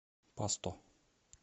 пасто